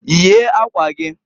Yie akwa giǃ